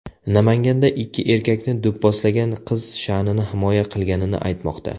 Namanganda ikki erkakni do‘pposlagan qiz sha’nini himoya qilganini aytmoqda.